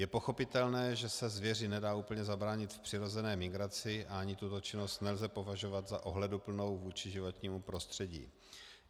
Je pochopitelné, že se zvěři nedá úplně zabránit v přirozené migraci, a ani tuto činnost nelze považovat za ohleduplnou vůči životnímu prostředí.